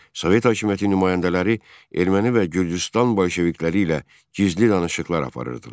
Sovet hakimiyyəti nümayəndələri erməni və Gürcüstan bolşevikləri ilə gizli danışıqlar aparırdılar.